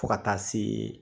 Fo ka taa se